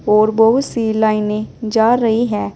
और बहुत सी लाइने जा रही है।